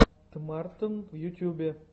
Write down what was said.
тмартн в ютьюбе